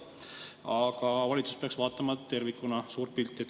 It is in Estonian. Aga valitsus peaks vaatama tervikuna suurt pilti.